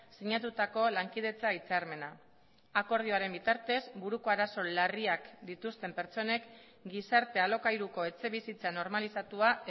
sinatutako lankidetza hitzarmena akordioaren bitartez buruko arazo larriak dituzten pertsonek gizarte alokairuko etxebizitza normalizatua